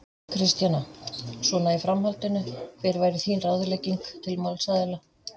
Kristjana: Svona í framhaldinu, hver væri þín ráðlegging til málsaðila?